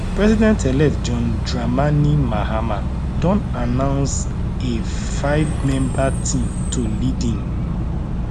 presidentelect john dramani mahama don announce a fivemember team to lead im